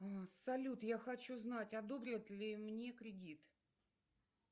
салют я хочу знать одобрят ли мне кредит